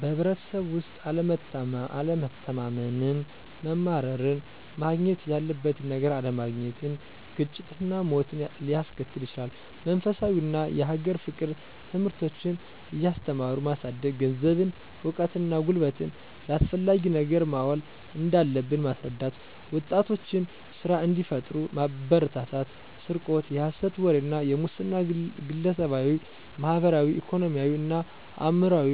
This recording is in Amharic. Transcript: በህብረተሰቡ ውስጥ አለመተማመንን፣ መማረርን፣ ማግኘት ያለበትን ነገር አለማግኘትን፣ ግጭትና ሞትን ሊያስከትል ይችላል። መንፈሳዊ እና የሀገር ፍቅር ትምህርቶችን እያስተማሩ ማሳደግ፣ ገንዘብን፣ እውቀትን እና ጉልበትን ለአስፈላጊ ነገር ማዋል እንዳለብን ማስረዳት፣ ወጣቶችን ስራ እንዲፈጥሩ ማበረታታት፣ ስርቆት፣ የሐሰት ወሬ እና የሙስና ግለሰባዊ፣ ማህበራዊ፣ ኢኮኖሚያዊ እና አእምሯዊ